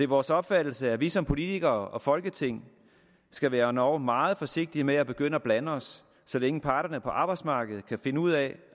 vores opfattelse at vi som politikere og folketing skal være endog meget forsigtige med at begynde at blande os så længe parterne på arbejdsmarkedet kan finde ud af